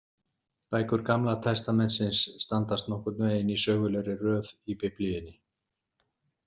Bækur Gamla testamentisins standa nokkurn veginn í sögulegri röð í Biblíunni.